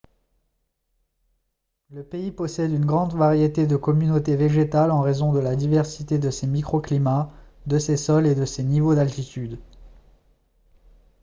le pays possède une grande variété de communautés végétales en raison de la diversité de ses microclimats de ses sols et de ses niveaux d'altitude